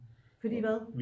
Fordi hvad